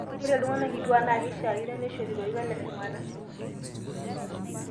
Ore iltung'ana kituak naa keishakino neishori lorikan le shumata